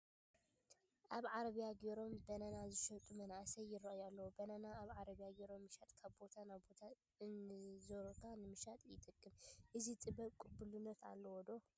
ኣብ ዓረቢያ ገይሮም በናና ዝሸጡ መናእሰይ ይርአዩ ኣለዉ፡፡ በናና ኣብ ዓረብያ ጌርካ ምሻጥ ካብ ቦታ ናብ ቦታ እንዞርካ ንምሻጥ ይጠቅም፡፡ እዚ ጥበብ ቅቡልነት ኣለዎ ዶ?